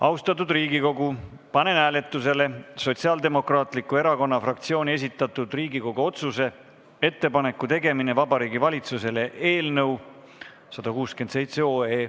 Austatud Riigikogu, panen hääletusele Sotsiaaldemokraatliku Erakonna fraktsiooni esitatud Riigikogu otsuse "Ettepaneku tegemine Vabariigi Valitsusele" eelnõu 167.